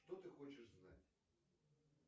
что ты хочешь знать